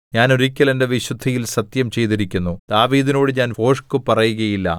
ഞാൻ ഒരിക്കൽ എന്റെ വിശുദ്ധിയിൽ സത്യം ചെയ്തിരിക്കുന്നു ദാവീദിനോട് ഞാൻ ഭോഷ്കുപറയുകയില്ല